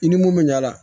I ni mun bɛ ɲ'a la